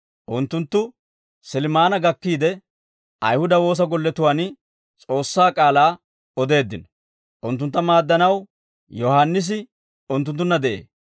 Unttunttu Silmaana gakkiide, Ayihuda woosa golletuwaan S'oossaa k'aalaa odeeddino; unttuntta maaddanaw Yohaannisi unttunttunna de'ee.